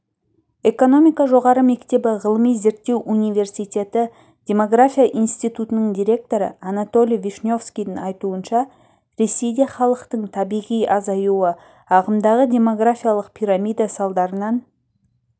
экономика жоғары мектебі ғылыми-зерттеу университеті демография институтының директоры анатолий вишневскийдың айтуынша ресейде халықтың табиғи азаюы ағымдағы демографиялық пирамида салдарынан